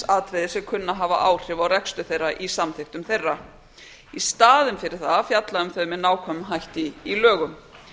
atriði sem kunna að hafa áhrif á rekstur þeirra í samþykktum þeirra í staðinn fyrir það að fjalla um þau með nákvæmum hætti í lögum